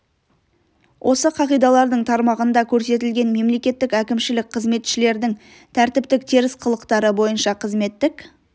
осы қағидалардың тармағында көрсетілген мемлекеттік әкімшілік қызметшілердің тәртіптік теріс қылықтары бойынша қызметтік